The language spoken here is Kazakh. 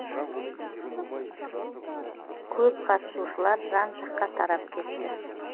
көп қатысушылар жан жаққа тарап кетті